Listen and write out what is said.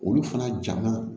Olu fana ja ma